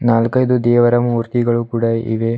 ನಾಲ್ಕೈದು ದೇವರ ಮೂರ್ತಿಗಳು ಕೂಡ ಇವೆ.